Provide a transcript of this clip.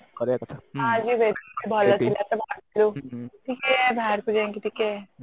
ଆଜି ବେସୀ ଭଲ ଥିଲା ତ ଟିକେ ବାହାରକୁ ଯାଇକି ଟିକେ